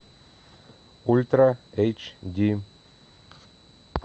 ультра эйч ди